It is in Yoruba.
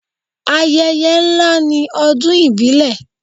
Ayẹyẹ ńlá ni ọdún ìbílẹ̀.